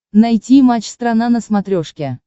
найти матч страна на смотрешке